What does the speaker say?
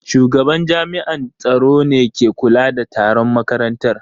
Shugaban jami’an tsaro ne ke kula da tsaron makarantar.